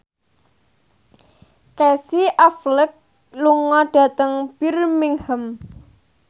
Casey Affleck lunga dhateng Birmingham